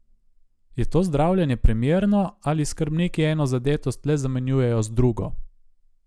Je to zdravljenje primerno ali skrbniki eno zadetost le zamenjujejo z drugo?